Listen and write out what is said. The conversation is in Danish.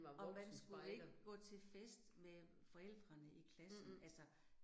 Og man skulle ikke gå til fest med forældrene i klassen altså